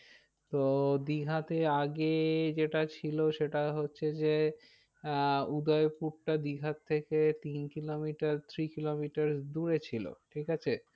তো দীঘাতে আগে যেটা ছিল সেটা হচ্ছে যে আহ উদয়পুরটা দীঘার থেকে তিন কিলোমিটার three কিলোমিটার দূরে ছিল ঠিক আছে।